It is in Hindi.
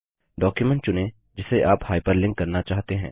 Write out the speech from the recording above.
डॉक्युमेंट चुनें जिसे आप हाइपरलिंक करना चाहते हैं